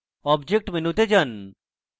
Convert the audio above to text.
object মেনুতে যান